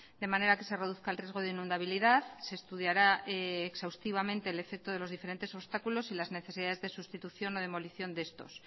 de manera que se reduzca el riesgo de inundabilidad se estudiará exhaustivamente el efecto de los diferentes obstáculos y las necesidades de sustitución o demolición de estos